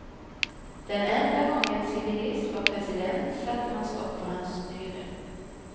Den enda gång en civilist var president satte man stopp för hans styre.